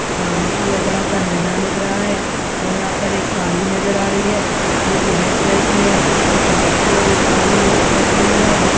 सामने की ओर बड़ा-सा मैदान दिख रहा है और यहाँ पे एक कार भी नज़र आ रही है जोकि रेड कलर की है और पीछे की ओर एक कार भी र रखी हुई हैं।